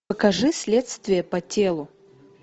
покажи следствие по телу